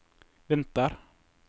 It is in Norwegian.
vinter